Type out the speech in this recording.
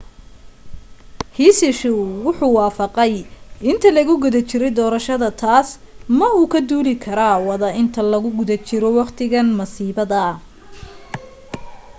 hsieh wuxuu wafaqay inta lagu guda jirey doorashada taas ma uu ka duuli kara wada inta lagu guda jiro waqtiga masiibada